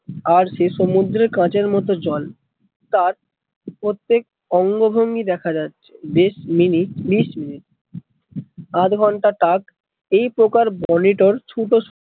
আর সে সমুদ্রে কাঁচের মতো জল তার প্রত্যেক অঙ্গ ভঙ্গি দেখা যাচ্ছে, বিশ মিনিট ত্রিশ মিনিট আত ঘণ্টা টাক এই প্রকার বেলিটোর সুকস